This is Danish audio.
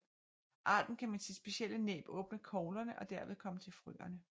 Arten kan med sit specielle næb åbne koglerne og derved komme til frøene